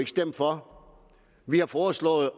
stemme for vi har foreslået